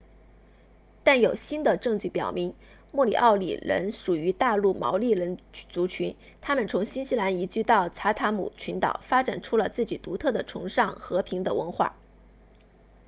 但有新的证据表明莫里奥里人属于大陆毛利人族群他们从新西兰移居到查塔姆群岛发展出了自己独特的崇尚和平的文化